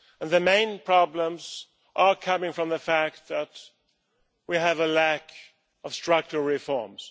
The main problems are coming from the fact that we have a lack of structural reforms.